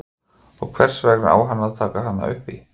Og hvers vegna á hann að taka hana upp í?